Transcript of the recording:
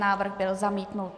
Návrh byl zamítnut.